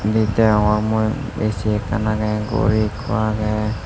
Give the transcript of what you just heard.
endi degongor mui ac ekkan age gori ekku age.